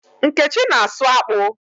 Nkechi na-asụ akpụ